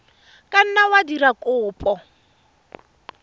ka nna wa dira kopo